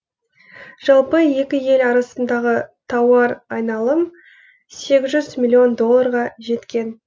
жалпы екі ел арасындағы тауар айналым сегіз жүз миллион долларға жеткен